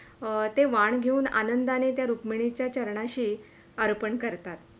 ते वाण घेऊन आनंदाने ते रुक्मिणीच्या चरणाशी अर्पण करतात.